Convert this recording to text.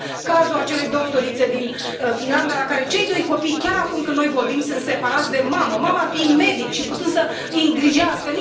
Avem cazul acelei doctorițe din Finlanda, în care cei doi copii, chiar acum când noi vorbim, sunt separați de mamă, mama fiind medic și putând să îi îngrijească.